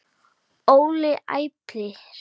Óli æpir.